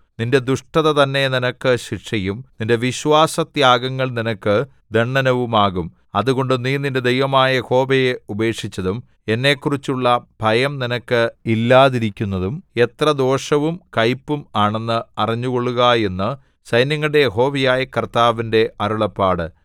നിന്റെ ദുഷ്ടത തന്നെ നിനക്ക് ശിക്ഷയും നിന്റെ വിശ്വാസത്യാഗങ്ങൾ നിനക്ക് ദണ്ഡനവുമാകും അതുകൊണ്ട് നീ നിന്റെ ദൈവമായ യഹോവയെ ഉപേക്ഷിച്ചതും എന്നെക്കുറിച്ചുള്ള ഭയം നിനക്ക് ഇല്ലാതിരിക്കുന്നതും എത്ര ദോഷവും കയ്പും ആണെന്ന് അറിഞ്ഞുകൊള്ളുക എന്ന് സൈന്യങ്ങളുടെ യഹോവയായ കർത്താവിന്റെ അരുളപ്പാട്